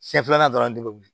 Siɲɛ filanan dɔrɔn de bɛ wuli